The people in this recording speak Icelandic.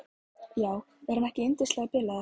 Já, er hann ekki yndislega bilaður.